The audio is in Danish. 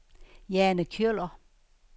Jane Kjøller